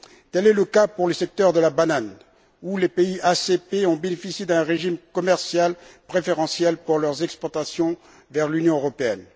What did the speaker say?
Tel est le cas pour le secteur de la banane, où les pays ACP ont bénéficié d'un régime commercial préférentiel pour leurs exportations vers l'Union européenne.